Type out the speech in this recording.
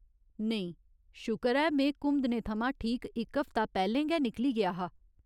नेईं, शुकर ऐ में घुमदणे थमां ठीक इक हफ्ता पैह्‌लें गै निकली गेआ हा।